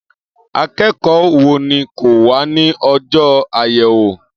Akẹ́kọ̀ọ́ wo ni kò wá ní ọjọ́ àyẹ̀wò